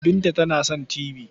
Binta tana son tibi.